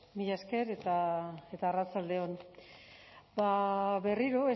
mila esker eta arratsalde on ba berriro